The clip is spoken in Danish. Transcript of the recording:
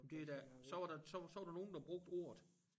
Men det da så var der så så var der nogen der brugte ordet